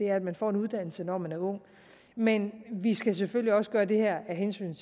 at man får en uddannelse når man er ung men vi skal selvfølgelig også gøre det her af hensyn